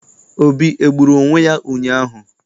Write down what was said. Obi egburu onwe ya ụnyaahụ?